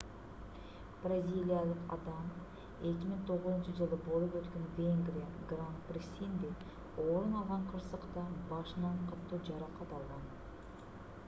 бразилиялык адам 2009-жылы болуп өткөн венгрия гран-присинде орун алган кырсыкта башынан катуу жаракат алган